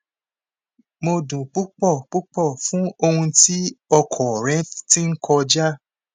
mo dun pupọ pupọ fun ohun ti ọkọ rẹ ti n kọja